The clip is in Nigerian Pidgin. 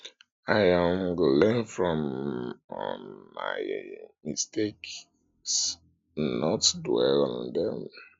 i um go learn from um my um mistakes and not dwell on dem